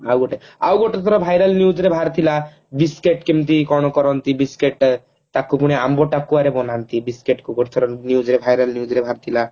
ଆଉ ଗୋଟେ ଆଉ ଗୋଟେ ଥର viral news ରେ ବାହାରି ଥିଲା biscuit କେମତି କଣ କରନ୍ତି biscuit ତାକୁ ପୁଣି ଆମ୍ବ ଟାକୁଆରେ ବନାନ୍ତି biscuit ଗୋଟେ ଥର viral news ରେ ବାହାରି ଥିଲା